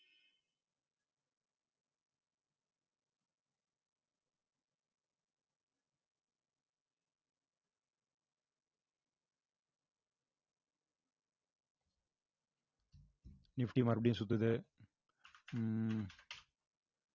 nifty மறுபடியும் சுத்துது உம்